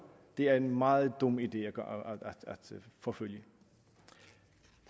er en meget dum idé at forfølge